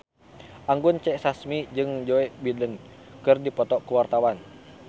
Anggun C. Sasmi jeung Joe Biden keur dipoto ku wartawan